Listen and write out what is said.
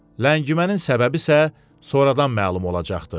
Ləngimənin səbəbi isə sonradan məlum olacaqdı.